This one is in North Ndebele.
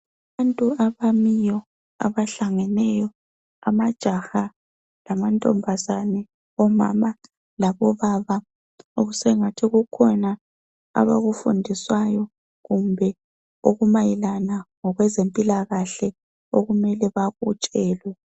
Abantu abamiyo abahlangeneyo amajaha lamantombazane, omama labobaba okusengathi kukhona abakufundiswayo kumbe okumayelana ngokwezempilakahle okumele bakutshelwe.